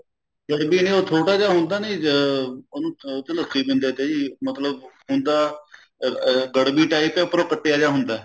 ਗੜਵੀ ਉਹ ਛੋਟਾ ਜਿਹਾ ਹੁੰਦਾ ਨੀ ਉਹਨੂੰ ਅਹ ਉਸ ਚ ਲੱਸੀ ਪੀਂਦੇ ਸੀ ਮਤਲਬ ਹੁੰਦਾ ਅਹ ਗੜਵੀ type ਉੱਪਰੋ ਕੱਟਿਆ ਜਾ ਹੁੰਦਾ